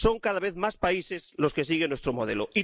Son cada vez más países los que siguen nuestro modelo.